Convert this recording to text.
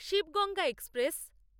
Shiva Ganga express